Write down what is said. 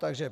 Takže